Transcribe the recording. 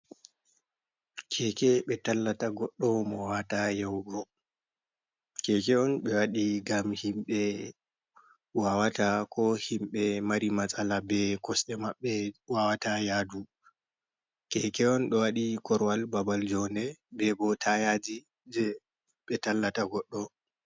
Keke be tallata goɗɗo mo wawata yahugo keke on ɓe waɗi ngam himɓe wawata yadu ko himɓe mari matsala be kosde maɓɓe wawata yadu keke on ɗo waɗi korowal babal njonde be bo tayaji je ɓe tallata goɗɗo.